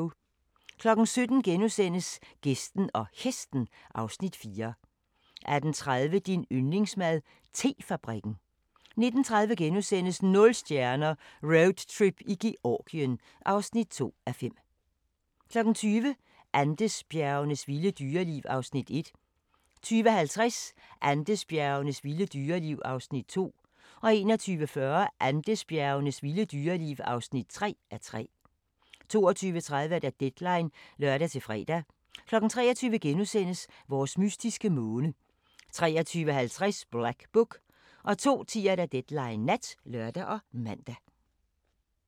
17:00: Gæsten og Hesten (Afs. 4)* 18:30: Din yndlingsmad: Te-fabrikken 19:30: Nul stjerner - Roadtrip i Georgien (2:5)* 20:00: Andesbjergenes vilde dyreliv (1:3) 20:50: Andesbjergenes vilde dyreliv (2:3) 21:40: Andesbjergenes vilde dyreliv (3:3) 22:30: Deadline (lør-fre) 23:00: Vores mystiske måne * 23:50: Black Book 02:10: Deadline Nat (lør og man)